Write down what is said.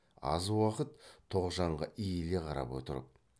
аз уақыт тоғжанға иіле қарап отырып